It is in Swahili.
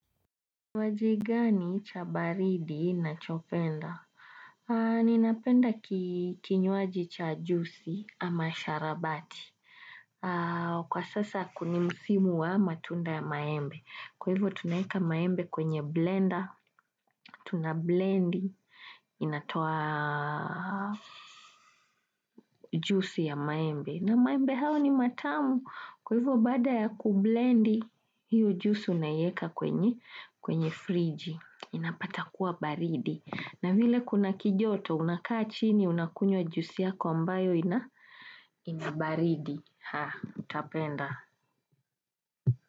Wajigani cha baridi na chopenda? Ninapenda kinywaji cha jusi ama sharabati. Kwa sasa kuni musimu wa matunda ya maembe. Kwa hivyo tunaeka maembe kwenye blender. Tunablendi inatoa jusi ya maembe. Na maembe hao ni matamu. Kwa hivo baada ya kublendi hiyo jusi unaieka kwenye friji. Inapatakuwa baridi na vile kuna kijoto unakaa chini unakunywa jusi yako ambayo inabaridi haa utapenda.